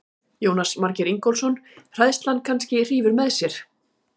Jónas Margeir Ingólfsson: Hræðslan kannski hrífur með sér?